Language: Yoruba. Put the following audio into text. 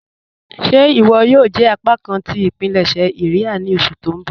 Ṣé iwọ yòò jẹ apákan tí ipilẹṣẹ iria ni oṣù tó n bọ́?